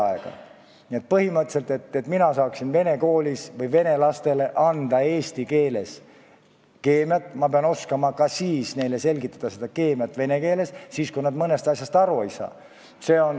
Põhimõtteliselt on nii, et selleks, et mina saaksin vene koolis anda vene lastele eesti keeles keemiat, pean ma oskama neile selgitada keemiat ka vene keeles, kui nad mõnest asjast eesti keeles aru ei saa.